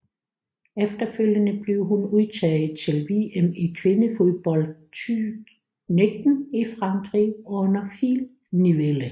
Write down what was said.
Efterfølgende blev hun udtaget til VM i kvindefodbold 2019 i Frankrig under Phil Neville